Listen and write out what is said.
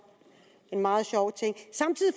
en meget sjov ting samtidig